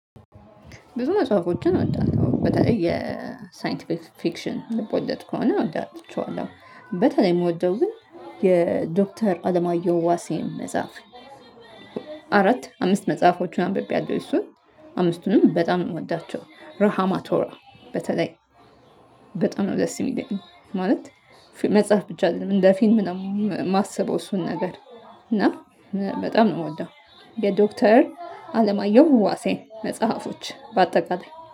ብዙ መጽሐፎችን እወዳለሁ በተለይ የሳይንቲፊክሽን ልቦለድ ከሆነ እወዳለሁ ቸዋለው። በተለይ ምወደው ግን የዶክተር አለማየሁ ዋሴን መጽሐፍ አራት አምስት መጽሐፎችን አንብቤያለሁ የሱን አምስቱንም በጣም ነው ምወዳቸው። ረሃማቶራ በተለይ በጣም ነው ደስ የሚለው ማለት። መጽሐፍ ብቻ አይደለም እንደ ፊልም ነው የማስበው እሱን ነገር። እና በጣም ምወደው የዶክተር አለማየሁ ዋሴን መጽሐፎች በአጠቃላይ